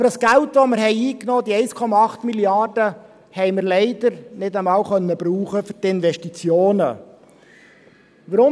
Aber das Geld, das wir eingenommen haben, diese 1,8 Mrd. Franken, konnten wir leider nicht einmal für die Investitionen verwenden.